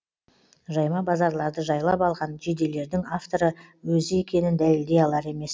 жайма базарларды жайлап алған жейделердің авторы өзі екенін дәлелдей алар емес